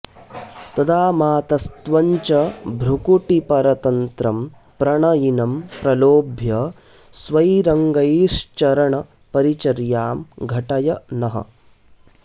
तदा मातस्त्वं च भ्रुकुटिपरतन्त्रं प्रणयिनं प्रलोभ्य स्वैरङ्गैश्चरणपरिचर्यां घटय नः